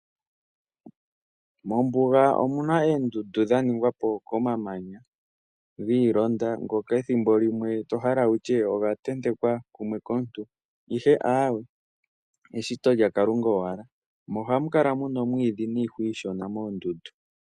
Mombuga omuna eendundu mo omuna wo omamanya giilonda ngoka ethimbo limwe to hala wutye oga ntentekwa kumwe kaantu aawe eshito lyaKalunga owala mo ohamukala muna oomwiidhi niihwa iishona moondundu.